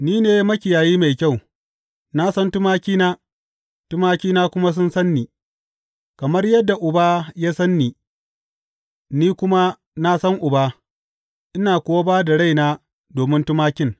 Ni ne makiyayi mai kyau; na san tumakina, tumakina kuma sun san ni, kamar yadda Uba ya san ni, ni kuma na san Uba, ina kuwa ba da raina domin tumakin.